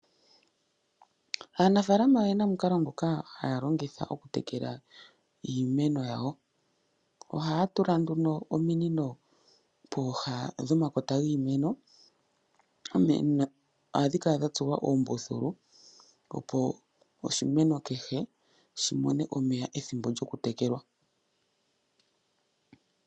Aanafaalama oyena omukalo ngoka haya longitha oku tekela iimeno yawo. Ohaya tula nduno ominino pooha dhomakota giimeno. Ominino oha dhi kala dha tsuwa uumbuthulu opo oshimeno kehe shi mone omeya ethimbo lyoku tekelwa.